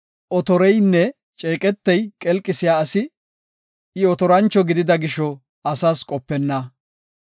Otoreynne ceeqetey qelqisiya asi; I otorancho gidida gisho asas qopenna.